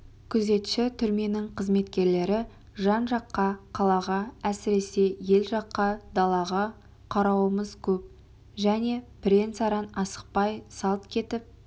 күзетші түрменің қызметкерлері жан-жаққа қалаға әсіресе ел жаққа далаға қарауымыз көп және бірен-саран асықпай салт кетіп